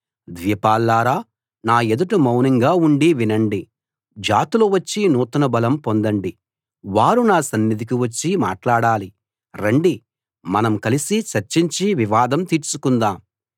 ద్వీపాల్లారా నా ఎదుట మౌనంగా ఉండి వినండి జాతులు వచ్చి నూతన బలం పొందండి వారు నా సన్నిధికి వచ్చి మాట్లాడాలి రండి మనం కలిసి చర్చించి వివాదం తీర్చుకుందాం